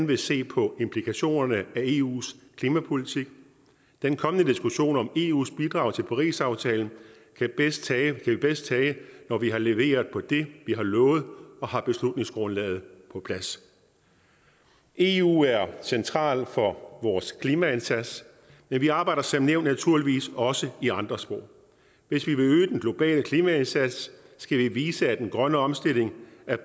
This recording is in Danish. vil se på implikationerne af eus klimapolitik den kommende diskussion om eus bidrag til parisaftalen kan vi bedst tage når vi har leveret på det vi har lovet og har beslutningsgrundlaget på plads eu er centralt for vores klimaindsats men vi arbejder som nævnt naturligvis også i andre spor hvis vi vil øge den globale klimaindsats skal vi vise at den grønne omstilling